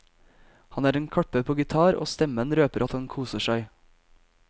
Han er en kløpper på gitar og stemmen røper at han koser seg.